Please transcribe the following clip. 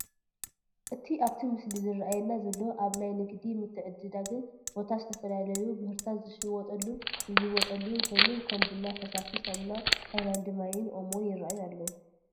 እቲ ኣብቲ ምስሊ ዝራኣየና ዘሎ ኣብ ናይ ንግዲ ምትዕድዳግን ቦታ ዝተፈላለዩ ምህርታት ዝሽየጥሉን ዝልወጠሉን ኮይኑ ከም ቡና፣ ፈሳሲ ሳሙና፣ ሃይላንዲ ማይን ኦሞን ይረአዩ ኣለው፡፡